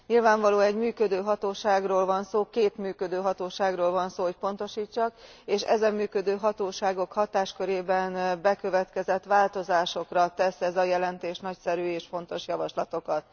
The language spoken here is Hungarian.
Nyilvánvalóan egy működő hatóságról van szó, két működő hatóságról van szó, hogy pontosítsak, és ezen működő hatóságoknak a hatáskörében bekövetkező változásokra tesz ez a jelentés nagyszerű és pontos javaslatokat.